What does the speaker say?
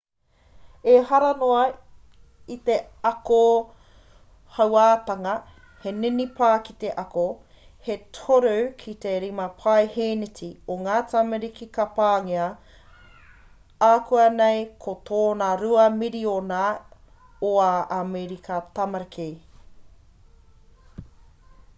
ehara noa i te ako hauātanga he ninipa ki te ako he 3 ki te 5 paeheneti o ngā tamariki ka pāngia akuanei ko tōna 2 miriona o ā amerika tamariki